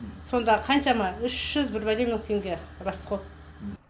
сонда қаншама үш жүз бір бәле мың теңге расход